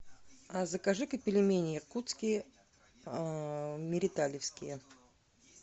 закажи ка пельмени якутские мириталевские